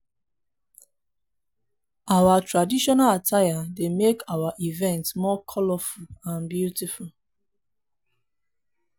our traditional attire dey make our events more colorful and beautiful.